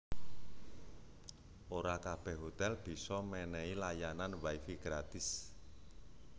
Ora kabèh hotèl bisa mènèhi layanan wi fi gratis